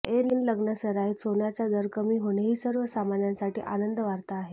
ऐन लग्नासराईत सोन्याचा दर कमी होणे ही सर्वसामान्यांसाठी आनंदवार्ता आहे